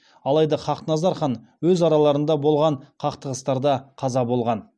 алайда хақназар хан өз араларында болған қақтығыстарда қаза болған